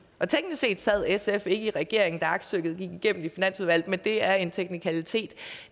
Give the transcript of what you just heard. set sad sf ikke i regering da aktstykket gik igennem i finansudvalget men det er en teknikalitet